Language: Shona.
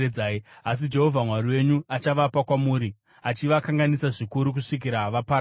Asi Jehovha Mwari wenyu achavapa kwamuri, achivakanganisa zvikuru kusvikira vaparadzwa.